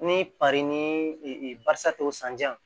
Ni pari ni barisa tɔ sanjan